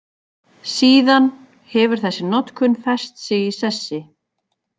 Síðan hefur þessi notkun fest sig í sessi.